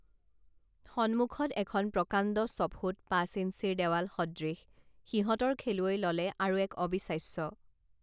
সন্মুখত এখন প্ৰকাণ্ড ছফুট পাঁচ ইঞ্চিৰ দেৱাল সদৃশ সিহঁতৰ খেলুৱৈ ললে আৰু এক অবিশ্বাস্য